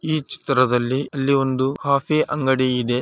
ಈ ಚಿತ್ರದಲ್ಲಿ ಅಲ್ಲಿ ಒಂದು ಕಾಫಿ ಅಂಗಡಿ ಇದೆ.